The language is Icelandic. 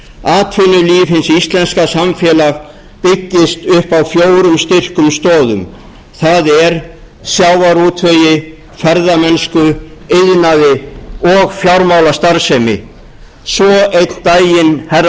hins íslenska samfélags byggist upp á fjórum styrkum stoðum það er sjávarútvegi ferðamennsku iðnaði og fjármálastarfsemi svo einn daginn herra